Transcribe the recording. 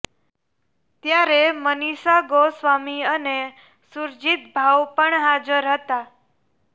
ત્યારે મનિષા ગોસ્વામી અને સુરજીત ભાઉ પણ હાજર હતા